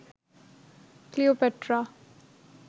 Cleopatra